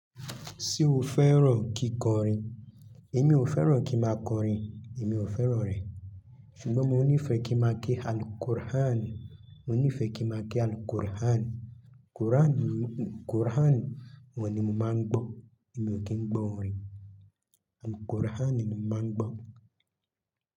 Ṣé o fẹ́ràn kíkọrin? Èmi ò fẹ́ràn kí máa kọrin, èmi ò fẹ́ràn rẹ̀. Ṣùgbọ́n mo nífẹ̀ẹ́ kí n máa ke Al-Qur'anu, mo nífẹ̀ẹ́ kí n máa ke Al-Qur'anu. Qur'anu ni, Qur'anu ni mo máa ń gbọ́, èmi ò kí ń gbọ́ orin. Al-Qur'anu ni mo máa ń gbọ́.